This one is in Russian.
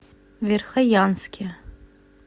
верхоянске